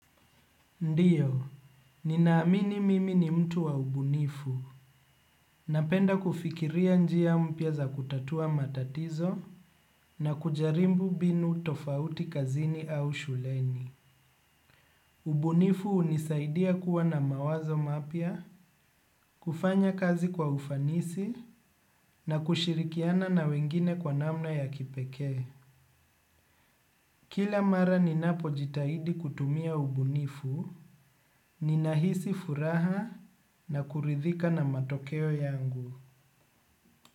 Ndiyo, ninaamini mimi ni mtu wa ubunifu. Napenda kufikiria njia mpya za kutatua matatizo na kujarimbu mbinu tofauti kazini au shuleni. Ubuniifu unisaidia kuwa na mawazo mapya, kufanya kazi kwa ufanisi na kushirikiana na wengine kwa namna ya kipekee. Kila mara ninapo jitahidi kutumia ubunifu, ninahisi furaha na kuridhika na matokeo yangu.